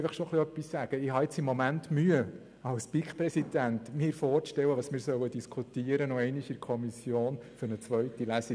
Ich glaube, dies hat zu dieser Mehrheit in der BiK geführt.